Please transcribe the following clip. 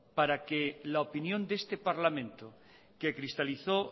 para que la opinión de este parlamento que cristalizó